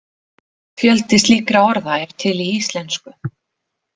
Fjöldi slíkra orða er til í íslensku.